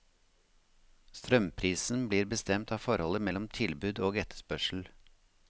Strømprisen blir bestemt av forholdet mellom tilbud og etterspørsel.